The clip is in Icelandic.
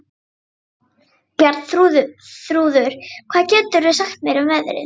Bjarnþrúður, hvað geturðu sagt mér um veðrið?